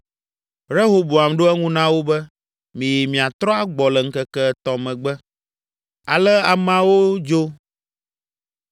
Rehoboam ɖo eŋu na wo be, “Miyi miatrɔ agbɔ le ŋkeke etɔ̃ megbe.” Ale ameawo dzo.